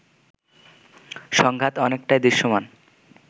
সংঘাত অনেকটাই দৃশ্যমান